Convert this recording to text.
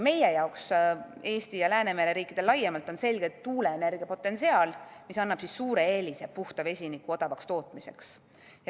Meie jaoks, Eesti ja Läänemere riikide jaoks laiemalt on selgelt tuuleenergia potentsiaal, mis annab suure eelise puhta vesiniku odavaks tootmiseks.